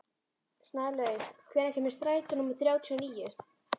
Snælaug, hvenær kemur strætó númer þrjátíu og níu?